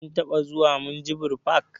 Kin taɓa zuwa minjibir fak?